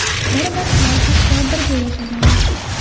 Bir vaqtlar hatto birga yashaganmiz.